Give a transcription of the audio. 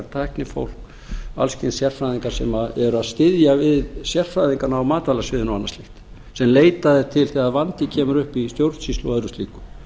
tæknifólk alls kyns sérfræðingar sem eru að styðja við sérfræðingana á matvælasviði og annað slíkt sem leitað er til þegar vandi kemur upp í stjórnsýslu og öðru slíku